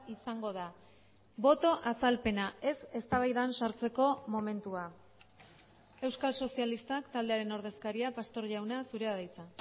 izango da boto azalpena ez eztabaidan sartzeko momentua euskal sozialistak taldearen ordezkaria pastor jauna zurea da hitza